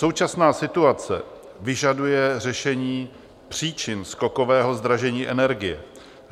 Současná situace vyžaduje řešení příčin skokového zdražení energie.